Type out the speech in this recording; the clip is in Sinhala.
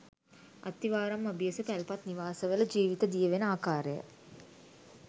අත්තිවාරම් අභියස පැල්පත් නිවාස වල ජීවිත දියවෙන ආකාරය